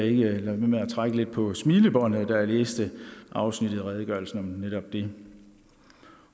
ikke lade være med at trække lidt på smilebåndet da jeg læste afsnittet i redegørelsen om netop det